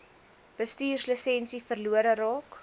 bestuurslisensie verlore raak